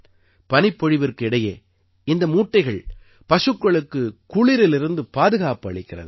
பனிபொழிவிற்கு இடையே இந்த மூட்டைகள் பசுக்களுக்கு குளிரிலிருந்து பாதுகாப்பு அளிக்கிறது